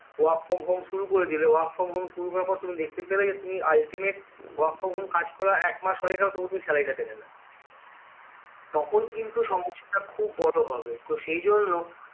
work from home শুরু করে দিলে work from home শুরু করার পর তুমি দেখতে পেলে যে তুমি ultimate work from home কাজ করার একমাস হয়ে গেলো তবু তুমি salary টা পেলে না তখন কিন্তু সমস্যা টা খুব বড় হবে তো সেই জন্য